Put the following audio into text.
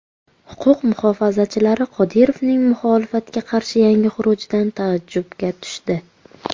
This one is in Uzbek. Huquq muhofazachilari Qodirovning muxolifatga qarshi yangi xurujidan taajjubga tushdi.